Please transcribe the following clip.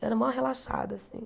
Era mó relaxada, assim.